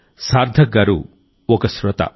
సార్థక్ గారు ఒక శ్రోత